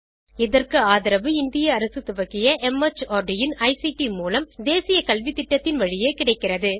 இதற்கு ஆதரவு இந்திய அரசு துவக்கிய மார்ட் இன் ஐசிடி மூலம் தேசிய கல்வித்திட்டத்தின் வழியே கிடைக்கிறது